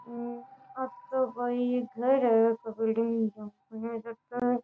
ओ तो कोई घर है बिल्डिंग --